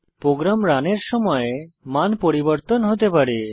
programme রানের সময় মান পরিবর্তন হতে পারে